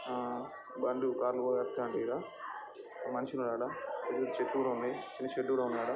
ఆ బండ్లు కార్లు మనిషి ఉన్నాడు ఆడ. నీరు చుట్టూరా ఉంది. చూసేటోడు ఉన్నాడు .ఆ-- .